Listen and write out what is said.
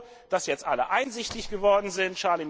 Ich bin froh, dass jetzt alle einsichtig geworden sind.